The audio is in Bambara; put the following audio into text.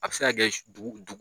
A be se ka kɛ dugu du